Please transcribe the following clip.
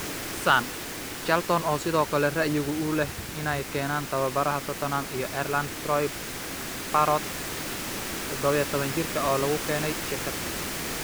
(Sun) Charlton oo sidoo kale ra'yiga u leh inay keenaan tababaraha Tottenham iyo Ireland Troy Parrott, dodobo iyo tawan jiirka, oo lagu keenayo shirkad.